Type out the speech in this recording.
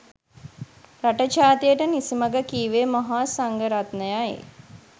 රට ජාතියට නිසි මග කීවේ මහා සංඝරත්නයයි.